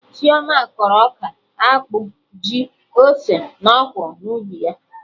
Chioma kọrọ ọka, akpụ, ji, ose na ọkwụrụ na ugbo ya